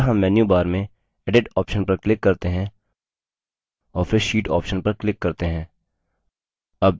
अतः हम menu bar में edit option पर click करते हैं और फिर sheet option पर click करते हैं